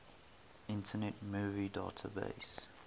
internet movie database